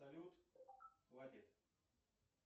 салют хватит